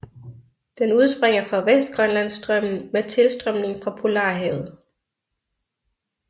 Den udspringer fra Vestgrønlandsstrømmen med tilstrømning fra Polarhavet